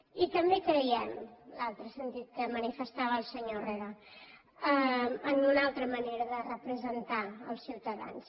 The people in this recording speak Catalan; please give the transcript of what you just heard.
i també creiem l’altre sentit que manifestava el senyor herrera en una altra manera de representar els ciutadans